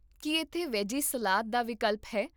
ਕੀ ਇੱਥੇ veggie salad ਦਾ ਵਿਕਲਪ ਹੈ?